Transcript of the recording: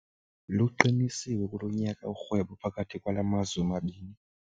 Luqinisiwe kulo nyaka urhwebo phakathi kwala mazwe mabini.